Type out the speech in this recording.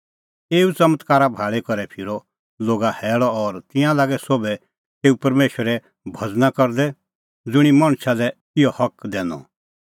एऊ च़मत्कारा भाल़ी करै फिरअ लोगा हैल़अ और तिंयां लागै सोभ तेऊ परमेशरे भज़ना करदै ज़ुंणी मणछा लै इहअ हक दैनअ